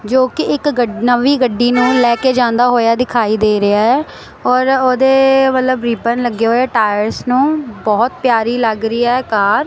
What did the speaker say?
ਜੋ ਕਿ ਇੱਕ ਗੱਡ ਨਵੀਂ ਗੱਡੀ ਨੂੰ ਲੈ ਕੇ ਜਾਂਦਾ ਹੋਇਆ ਦਿਖਾਈ ਦੇ ਰਿਹਾ ਐ ਔਰ ਉਹਦੇ ਵੱਲਬ ਰਿਬਨਸ ਲੱਗੇ ਹੋਏ ਆ ਟਾਇਰਸ ਨੂੰ ਬਹੁਤ ਪਿਆਰੀ ਲੱਗ ਰਹੀ ਐ ਕਾਰ ।